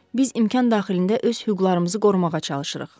Biz imkan daxilində öz hüquqlarımızı qorumağa çalışırıq.